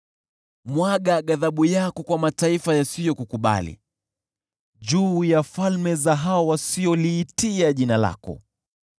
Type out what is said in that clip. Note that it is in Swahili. Mwaga ghadhabu yako kwa mataifa yasiyokukubali, juu ya falme za hao wasioliitia jina lako,